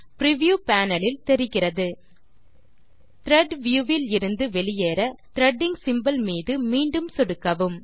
preview panel இல் தெரிகிறது thread view விலிருந்து வெளியேற த்ரெடிங் சிம்போல் மீது மீண்டும் சொடுக்கவும்